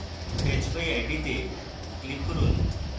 fetch by id তে click করুন